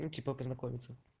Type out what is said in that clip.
ну типа познакомиться